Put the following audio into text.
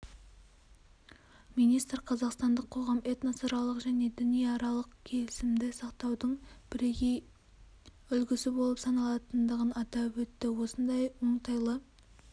министр қазақстандық қоғам этносаралық және дінаралық келісімді сақтаудың бірегей үлгісі болып саналатындығын атап өтті осындай оңтайлы